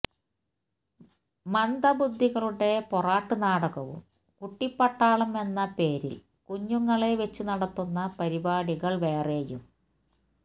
മന്ദബുദ്ധികളുടെ പൊറാട്ട് നാടകവും കുട്ടിപ്പട്ടാളം എന്ന പേരില് കുഞ്ഞുങ്ങളെ വെച്ചുനടത്തുന്ന പരിപാടികള് വേറെയും